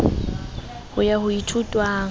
ho ya ho e ithutwang